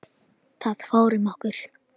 Það fór um okkur.